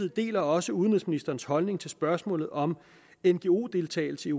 deler også udenrigsministerens holdning til spørgsmålet om ngo deltagelse